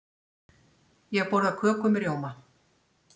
Ég borða köku með rjóma.